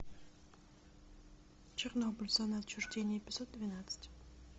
чернобыль зона отчуждения эпизод двенадцать